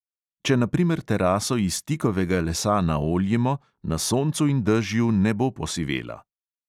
Če na primer teraso iz tikovega lesa naoljimo, na soncu in dežju ne bo posivela.